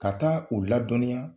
Ka taa u ladɔnya